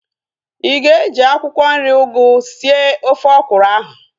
Ịga eji akwụkwọ nri ugu sie ofe ọkwụrụ ahu